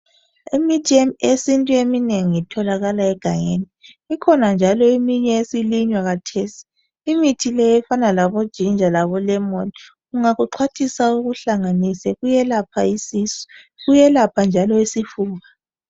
Imithi yesintu eminengi itholakala egangeni. Ikhona njalo eminye esilinywa khathesi . Imithi le efana labo ginger labo lemon. Ungakuxhwathisa ukuhlanganise kuyelapha isisu kuyelapha njalo isifuba.